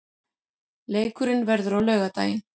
Leikurinn verður á laugardaginn.